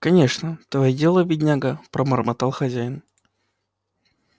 кончено твоё дело бедняга пробормотал хозяин